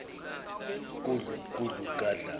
gudlu gudlu gadla